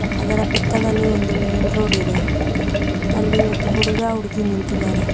ಅದರ ಪಕ್ಕದಲ್ಲಿ ಒಂದು ಮೇನ್ ರೋಡ್ ಇದೆ ಅಲ್ಲಿ ಒಂದು ಹುಡುಗ ಹುಡುಗಿ ನಿಂತಿದ್ದಾರೆ.